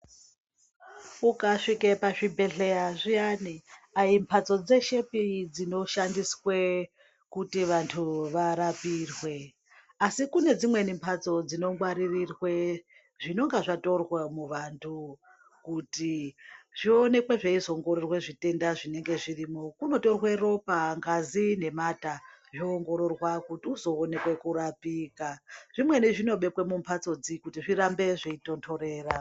Ukasvika pàzvibhedhleya zviyani aimhatsodzeshepi dzinoshandiswa kuti vantu varpoirwe ai kune dzimweni mbatso dzinongwarirwe zvinenge zvatorwa muvantu kuti zvionekwe zveizoongororwa zvitenda zvinenge zvirimwo. Kunotorwa ropa, ngazi nemata zvoongororwa kuti uzoona kurapika. Zvimweni zvinobekwa mumhatsodzi kuti zvirambe zveitontorera.